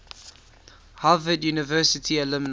harvard university alumni